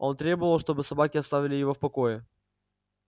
он требовал чтобы собаки оставили его в покое